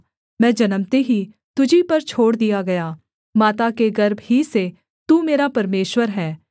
मैं जन्मते ही तुझी पर छोड़ दिया गया माता के गर्भ ही से तू मेरा परमेश्वर है